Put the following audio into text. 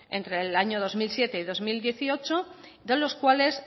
entre el año dos mil siete y dos mil dieciocho de los cuales